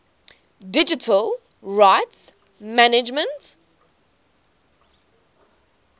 digital rights management